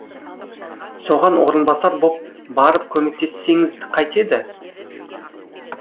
соған орынбасар боп барып көмектессеңіз қайтеді